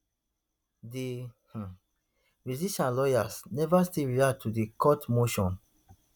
di um musician lawyers never still react to di court motion